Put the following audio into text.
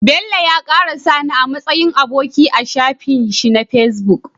Bello ya kara sani a matsayin aboki a shafin shi na facebook